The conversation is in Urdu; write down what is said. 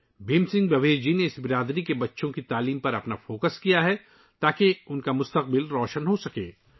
بھیم سنگھ بھاویش جی نے ، اس کمیونٹی کے بچوں کی تعلیم پر توجہ مرکوز کی ہے تاکہ ان کا مستقبل روشن ہو سکے